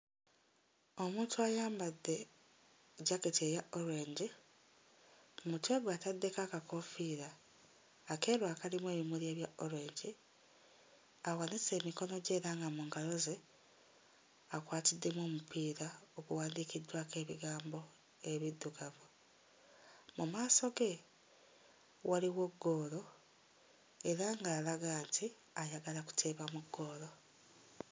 Omuntu ayambadde jaketi eya orange, ku mutwe gwe ataddeko akakoofiira akeeru akalimu ebimuli ebya orange, awanise emikono gye era nga mu ngalo ze akwatiddemu omupiira oguwandiikiddwako ebigambo nga biddugavu. Mu maaso ge waliwo ggoolo era nga'alaga nti ayagala kuteeba mu ggoolo.